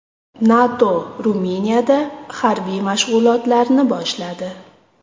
NATO Ruminiyada harbiy mashg‘ulotlarni boshladi.